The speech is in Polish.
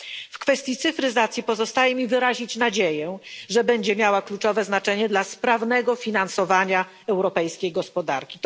W kwestii cyfryzacji pozostaje mi wyrazić nadzieję, że będzie miała kluczowe znaczenie dla sprawnego finansowania europejskiej gospodarki.